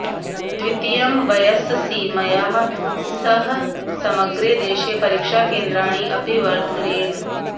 द्वितीयं वयस्सीमया सह समग्रे देशे परीक्षाकेन्द्राणि अपि वर्धेरन्